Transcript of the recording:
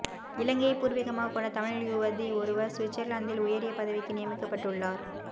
இலங்கையை பூர்வீகமாகக் கொண்ட தமிழ் யுவதி ஒருவர் சுவிட்சர்லாந்தில் உயரிய பதவிக்கு நியமிக்கப்பட்டுள்ளார